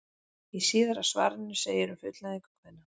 Í síðara svarinu segir um fullnægingu kvenna: